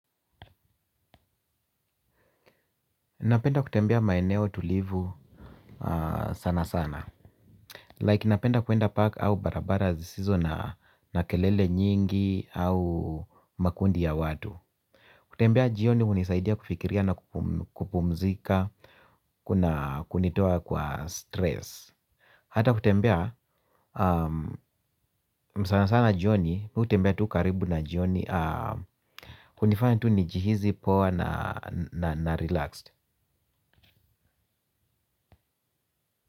Napenda kutembea maeneo tulivu sana sana Like napenda kuenda park au barabara zisizo na kelele nyingi au makundi ya watu. Kutembea jioni hunisaidia kufikiria na kupumzika kunitoa kwa stress. Hata kutembea sana sana jioni, mimi hutembea tu karibu na jioni hunifanya tu nijihisi poa na relaxed.